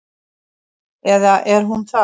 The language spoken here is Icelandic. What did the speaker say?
Eða er hún það?